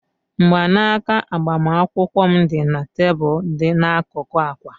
Mgbanaka agbamakwụkwọ m dị na tebụl dị n'akụkụ akwa